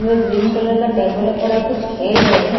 ये green colour का table है पडा कुछ खेल रहे हैं सब।